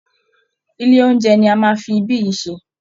Ilé oúnjẹ ni a máa fi ibí yìí ṣe